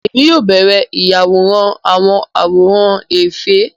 Èmi yóò bẹrẹ ìyàwòrán awọn àwòrán efe